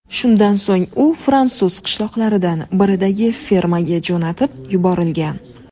Shundan so‘ng u fransuz qishloqlaridan biridagi fermaga jo‘natib yuborilgan.